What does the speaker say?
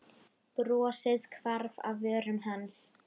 Brosið hvarf af vörum hans.